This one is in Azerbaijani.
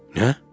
Nə?